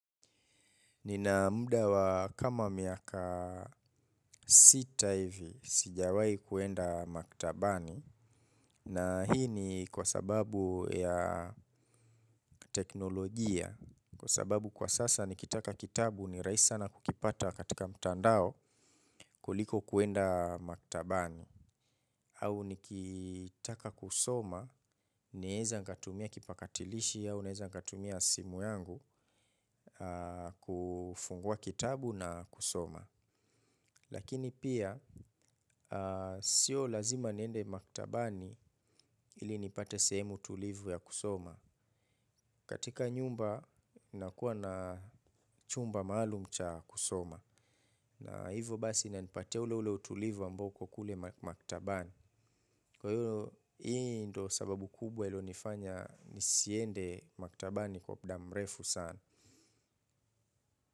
Nina muda wa kama miaka sita hivi sijawai kwenda maktabani na hii ni kwa sababu ya teknolojia kwa sababu kwa sasa nikitaka kitabu ni rahisi sana kukipata katika mtandao kuliko kwenda maktabani. Au nikitaka kusoma, naweza nikatumia kipakatilishi au, naweza katumia simu yangu kufungua kitabu na kusoma. Lakini pia, sio lazima niende maktabani ili nipate sehemu tulivu ya kusoma. Katika nyumba, nakuwa na chumba maalum cha kusoma. Na hivo basi inanipatia ule ule utulivu ambao uko kule maktabani. Kwa hiyo hii ndiyo sababu kubwa iliyonifanya nisiende maktabani kwa muda mrefu sana.